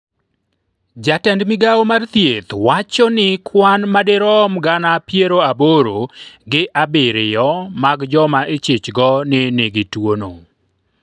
jatend migawo mar thieth wacho ni kwan madirom gana piero aboro gi abiriyo mag joma ichich go ni nigi tuono